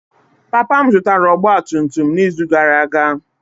Papa m zụtara ọgba tum tum n'izu gara aga.